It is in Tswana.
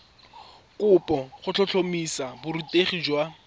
kopo go tlhotlhomisa borutegi jwa